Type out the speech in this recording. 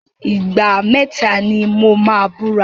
Ìgbà mẹ́tà ni mo máa búra.